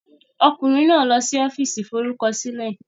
Ọkùnrin náà lọ sí Ọ́fíìsì Ìforúkọsílẹ̀.